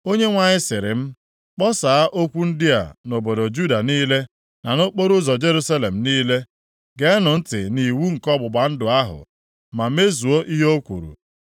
Onyenwe anyị sịrị m, “Kpọsaa okwu ndị a nʼobodo Juda niile, na nʼokporoụzọ Jerusalem niile, ‘Geenụ ntị nʼiwu nke ọgbụgba ndụ ahụ, ma mezuo ihe o kwuru.